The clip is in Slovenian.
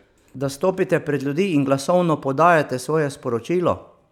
Da stopite pred ljudi in glasovno podajate svoje sporočilo?